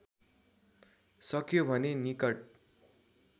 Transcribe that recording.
सक्यो भने निकट